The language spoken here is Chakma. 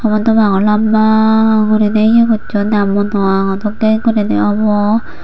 honwpangor lamba gurine ye gossonne dokke gurine obo.